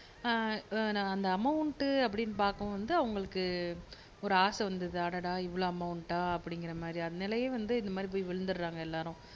ஆஹ் அஹ் இந்த அமௌன்ட்டு அப்படினு பாக்கவும் வந்து அவங்களுக்கு ஒரு ஆசை வந்துருது அடடா இவ்ளோ அமௌன்டா அப்டிங்குற மாதிரி அதுனாலயே வந்து இந்த மாதிரி போய் விழுந்துராங்க எல்லாரும்